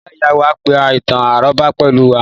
Ìyá ìyá wá pa ìtàn-àrọ́bá pẹ̀lú wa